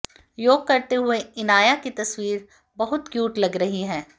योग करते हुए इनाया की तस्वीर बहुत क्यूट लग रही है